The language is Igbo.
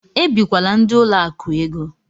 Ebikwala ndị ụlọ akụ égo!